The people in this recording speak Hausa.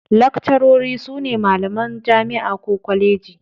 Lakcarori sune malaman jami'a ko kwaleji